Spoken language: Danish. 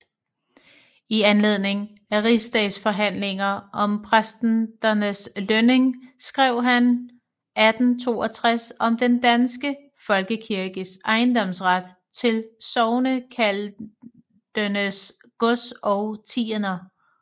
I anledning af rigsdagsforhandlinger om præsternes lønning skrev han 1862 Om den danske Folkekirkes Ejendomsret til Sognekaldenes Gods og Tiender